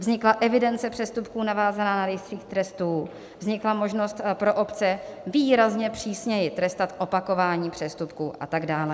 Vznikla evidence přestupků navázaná na rejstřík trestů, vznikla možnost pro obce výrazně přísněji trestat opakování přestupků a tak dále.